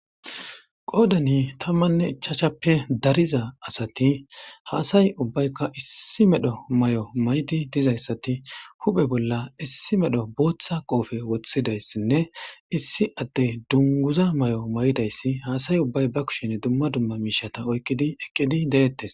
Qoodani tammanne ichaashappe dariza asati haasay ubbaykka issi medho may'o maydi dizayssati huphe bolla issi medho booththa qoofe wothidayssinne issi atte dunguza may'o may'dayssi haasay ubbay ba kushen dumma dumma miishata oyqqidi eqqidi deettes.